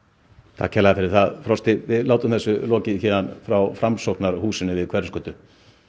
takk kærlega fyrir það Frosti við látum þessu lokið héðan frá Framsóknarhúsinu við Hverfisgötu